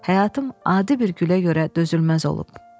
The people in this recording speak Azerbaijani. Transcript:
Həyatım adi bir gülə görə dözülməz olub.